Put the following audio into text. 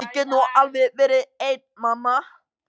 Ég get nú alveg verið ein mamma.